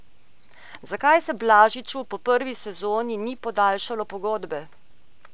Zakaj se Blažiču po prvi sezoni ni podaljšalo pogodbe?